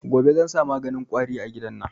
Gobe zan sa maganin kwari a gidan nan